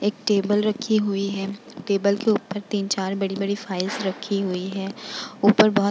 एक टेबल रखी हुई है | टेबल के ऊपर तीन चार बड़ी बड़ी फाइल्स रखी हुई है | उपर बहुत --